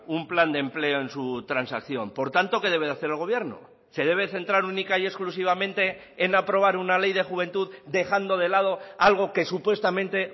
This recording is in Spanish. un plan de empleo en su transacción por tanto qué debe hacer el gobierno se debe centrar única y exclusivamente en aprobar una ley de juventud dejando de lado algo que supuestamente